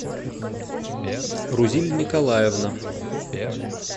рузиль николаевна